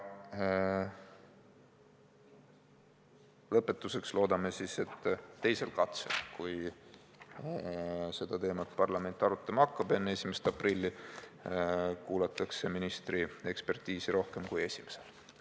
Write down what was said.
Lõpetuseks loodame, et teisel katsel, kui seda teemat parlament hakkab arutama enne 1. aprilli, kuulatakse ministri ekspertiisi rohkem kui esimesel.